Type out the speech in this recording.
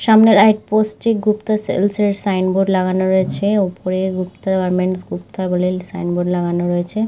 সামনে light post - এ Gupta sales - এর সাইনবোর্ড লাগানো রয়েছে। ওপরে গুপ্তা গারমেন্টস্ গুপ্তা এর সাইনবোর্ড লাগানো রয়েছে।